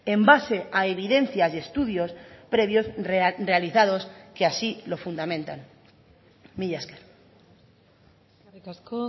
en base a evidencias y estudios previos realizados que así lo fundamentan mila esker eskerrik asko